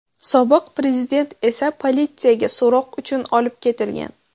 Sobiq prezident esa politsiyaga so‘roq uchun olib ketilgan.